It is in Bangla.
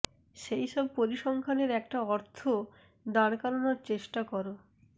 সেই সব পরিসংখ্যানের একটা অর্থ দাঁড় করানোর চেষ্টা করো